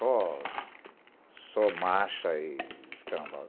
Só marcha e escambau.